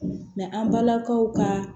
an balakaw ka